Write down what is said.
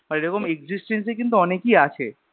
এরকম Existence এই কিন্তু অনেকি আছে